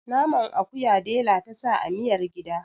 naman akuya dela ta sa amiyar gida